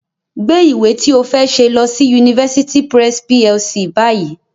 Gbé ìwé ti ó fẹ́ ṣe lọ University Press PLC báyìí